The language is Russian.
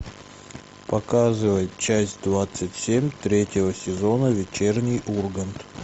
показывай часть двадцать семь третьего сезона вечерний ургант